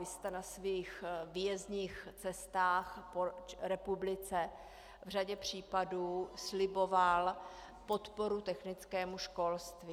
Vy jste na svých výjezdních cestách po republice v řadě případů sliboval podporu technickému školství.